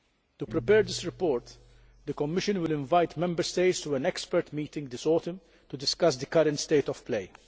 To prepare this report, the Commission will invite Member States to an expert meeting this autumn to discuss the current state of play.